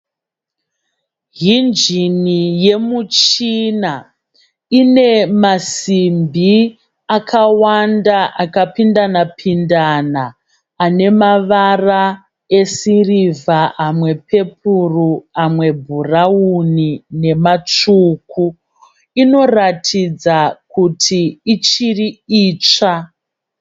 Hinjini yemuchina inemasimbi akawanda akapindandana-pindana anemavara esirivha amwe pepuro amwebhurauni nematsvuku. Inoratidza kuti ichiri itsva.